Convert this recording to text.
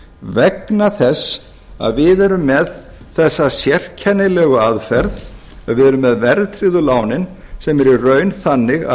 vegna þess að við erum að þessa sérkennilegu aðferð að við erum með verðtryggðu lánin sem eru í raun þannig að